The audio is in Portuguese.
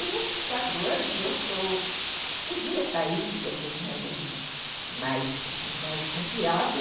E nesses quatro anos eu eu podia sair, depois que eu tinha gente mais mais confiável.